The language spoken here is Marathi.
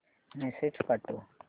मेसेज पाठव